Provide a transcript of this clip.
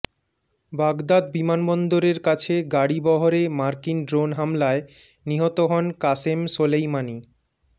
Baghdad বিমানবন্দরের কাছে গাড়িবহরে মার্কিন ড্রোন হামলায় নিহত হন কাসেম সোলেইমানি